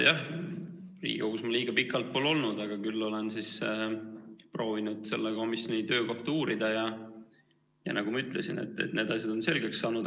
Jah, Riigikogus ma liiga pikalt pole olnud, aga küll olen proovinud selle komisjoni töö kohta uurida ja nagu ma ütlesin, need asjad on selgeks saanud.